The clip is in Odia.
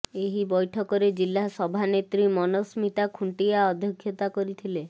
ଏହି ବୈଠକରେ ଜିଲ୍ଲା ସଭାନେତ୍ରୀ ମନସ୍ମିତା ଖୁଣ୍ଟିଆ ଅଧ୍ୟକ୍ଷତା କରିଥିଲେ